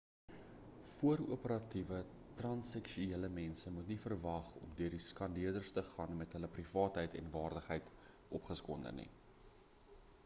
voor-operatiewe transseksuele mense moet nie verwag om deur die skandeerders te gaan met hulle privaatheid en waardigheid ongeskonde nie